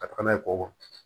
Ka taga n'a ye kɔ